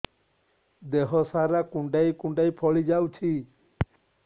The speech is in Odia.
ଦେହ ସାରା କୁଣ୍ଡାଇ କୁଣ୍ଡାଇ ଫଳି ଯାଉଛି